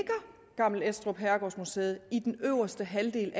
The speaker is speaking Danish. gammel estrup herregårdsmuseet i den øverste halvdel